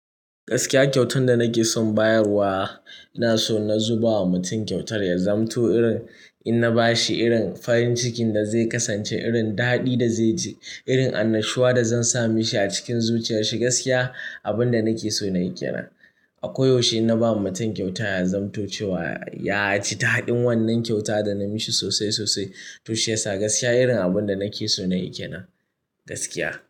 Gaskiya kyautar da nake son bayarwa, ina so na zuba wa mutum kyautar ya zamanto irin in na ba shi irin farin cikin da zai kasance, irin daɗi da zai ji, irin annashuwa da zan sa mishi a cikin zuciyarshi gaskiya, abin da nake so na yi ke nan. Ako yaushe in na ba ma mutum kyauta ya zamanto cewa ya ji daɗin wannan kyauta da na mishi sosai sosai. Toshi ya sa gaskiya irin abin da nake so na yi ke nan, gaskiya.